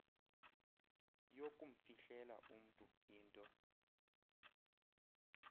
yokumfihlela umntu into